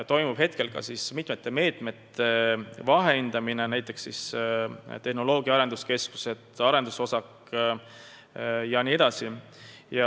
Praegu toimub mitme meetme vahehindamine, hinnatakse tehnoloogia arenduskeskusi, arendusosakut jne.